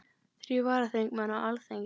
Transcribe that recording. Þrír varaþingmenn á Alþingi